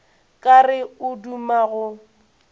ka re o duma go